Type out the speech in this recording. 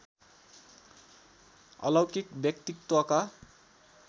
अलौकिक व्यक्तित्वका